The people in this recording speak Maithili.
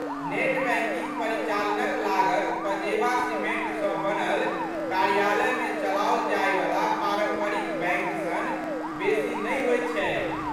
नेट बैंकिंग परिचालनक लागत पजेबा सीमेंटसँ बनल कार्यालयमे चलाओल जाइवला पारंपरिक बैंक सन बेसी नहि होइत छैक।